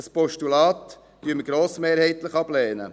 Ein Postulat lehnen wir grossmehrheitlich ab.